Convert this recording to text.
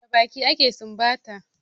Da baki ake sumbata